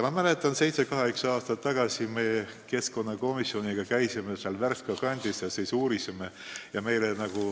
Ma mäletan, et seitse-kaheksa aastat tagasi me käisime keskkonnakomisjoniga Värska kandis ja uurisime asjade seisu.